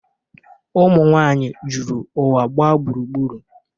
Ụmụnwaanyị juru ụwa gba gburugburu.